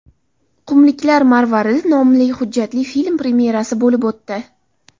Qumliklar marvaridi” nomli hujjatli film premyerasi bo‘lib o‘tdi.